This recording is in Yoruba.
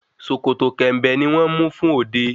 Sòkòtò kẹ̀ǹbẹ̀ ni wón mú fún òde